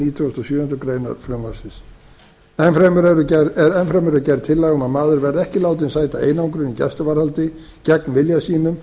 nítugasta og sjöundu greinar frumvarpsins enn fremur er gerð tillaga um að maður verði ekki látinn sæta einangrun í gæsluvarðhaldi gegn vilja sínum